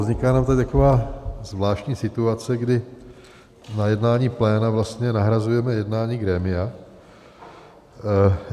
Vznikla nám tady taková zvláštní situace, kdy na jednání pléna vlastně nahrazujeme jednání grémia.